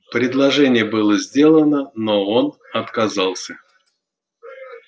предложение было сделано но он отказался